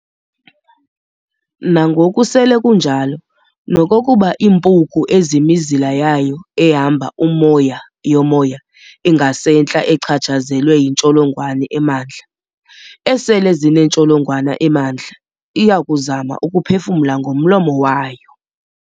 Nangoku sele kunjalo, nokokuba iimpuku ezimizila yayo ehamba umoya yomoya ingasentla echatshsazelwe yintsholongwane emandla ysele zinentsholongwane emandla, iyakuzama ukuphefumla ngomlomo wayo.